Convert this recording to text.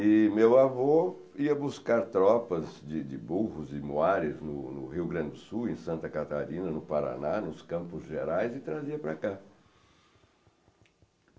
E meu avô ia buscar tropas de burros e moares no Rio Grande do Sul, em Santa Catarina, no Paraná, nos Campos Gerais e trazia para cá.